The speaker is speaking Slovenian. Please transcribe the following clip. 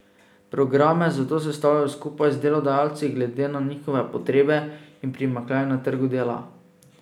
Programe zato sestavljajo skupaj z delodajalci glede na njihove potrebe in primanjkljaj na trgu dela.